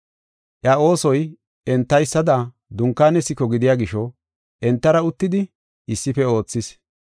Iya oosoy entaysada dunkaane siko gidiya gisho, entara uttidi issife oothis.